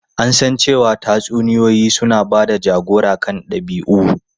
An san cewa tatsuniyoyi suna ba da jagora kan dabi'u.